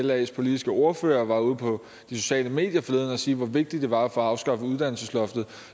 at las politiske ordfører var ude på de sociale medier forleden og sige hvor vigtigt det var at få afskaffet uddannelsesloftet